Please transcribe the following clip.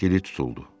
Dili tutuldu.